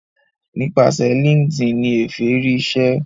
nípasẹ linkedin ní Efe rí ìṣe